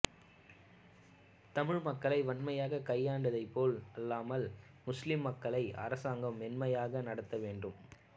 தமிழ் மக்களை வன்மையாக கையாண்டதை போல் அல்லாமல் முஸ்லிம் மக்களை அரசாங்கம் மென்மையாக நடத்த வேண்டும்